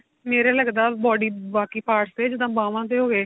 ਮਰੇ ਲੱਗਦਾ body ਬਾਕੀ parts ਤੇ ਜਿੱਦਾਂ ਬਾਵਾਂ ਤੇ ਹੋਗੇ